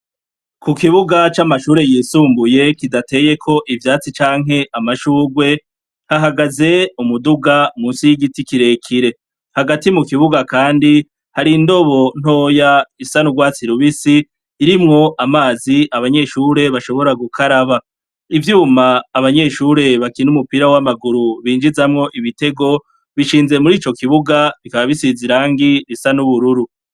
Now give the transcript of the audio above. Ku kibuga c'amashure yisumbuye kidateyeko ivyatsi canke amashurwe, hahagaze umuduga munsi y'igiti kire kire. Hagati mu kibuga kandi hari indobo ntoya isa n'urwatsi rubisi irimwo amazi abanyeshure bashobora gukaraba. Ivyuma abanyeshure bakina umupira w'amaguru binjizamwo ibitego bishinze muri ico kibuga, bikaba bisize irangi risa n'ubururu.